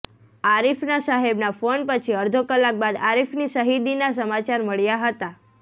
આરીફના સાહેબના ફોન પછી અડધો કલાક બાદ આરીફની શહીદીના સમાચાર મળ્યા હતા